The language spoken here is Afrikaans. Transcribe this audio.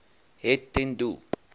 het ten doel